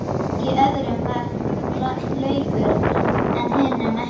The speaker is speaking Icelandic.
Í öðrum var laukur en hinum ekki.